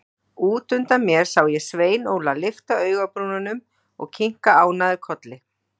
Út undan mér sá ég Svein Óla lyfta augabrúnunum og kinka ánægður kolli.